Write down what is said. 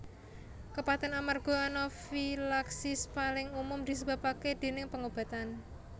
Kepaten amarga anafilaksis paling umum disebabake déning pengobatan